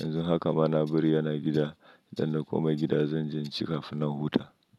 Yanzu haka ma na bari yana gida, dan na koma gida zan ci kafin na huta.